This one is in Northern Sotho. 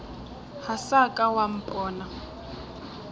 ga sa ka wa mpona